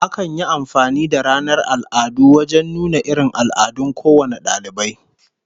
Akan yi amfani da ranar al'adu wajen nuna irin al'adun kowane dalibai